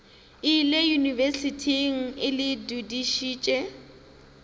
ile yunibesithing e le dudišitše